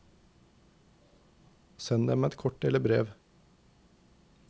Send dem et kort eller brev.